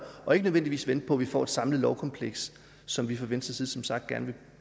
og ikke nødvendigvis venter på at vi får et samlet lovkompleks som vi fra venstres side som sagt gerne